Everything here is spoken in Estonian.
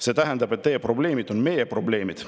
See tähendab, et teie probleemid on meie probleemid.